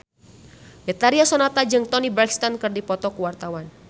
Betharia Sonata jeung Toni Brexton keur dipoto ku wartawan